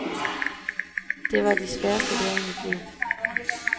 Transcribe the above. Det var de sværeste dage i mit liv.